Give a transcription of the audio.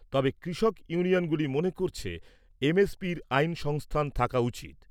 তবে, কৃষক ইউনিয়নগুলি মনে করছে, এমএফির আইন সংস্থান থাকা উচিত।